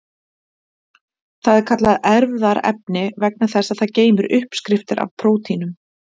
Það er kallað erfðaefni vegna þess að það geymir uppskriftir að prótínum.